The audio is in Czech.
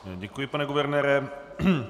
Děkuji, pane guvernére.